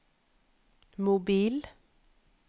mobil